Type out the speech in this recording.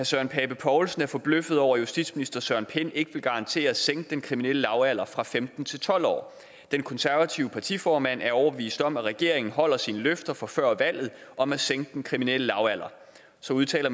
søren pape poulsen er forbløffet over at justitsminister søren pind ikke vil garantere at sænke den kriminelle lavalder fra femten til tolv år den konservative partiformand er overbevist om at regeringen holder sine løfter fra før valget om at sænke den kriminelle lavalder så udtaler